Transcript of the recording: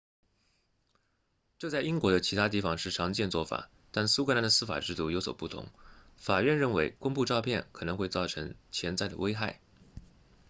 这在英国的其他地方是常见做法但苏格兰的司法制度有所不同法院认为公布照片可能会造成潜在的危害